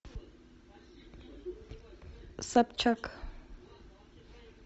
собчак